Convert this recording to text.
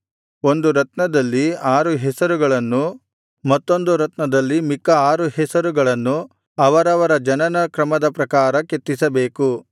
ಒಂದು ರತ್ನದಲ್ಲಿ ಆರು ಹೆಸರುಗಳನ್ನೂ ಮತ್ತೊಂದು ರತ್ನದಲ್ಲಿ ಮಿಕ್ಕ ಆರು ಹೆಸರುಗಳನ್ನು ಅವರವರ ಜನನ ಕ್ರಮದ ಪ್ರಕಾರ ಕೆತ್ತಿಸಬೇಕು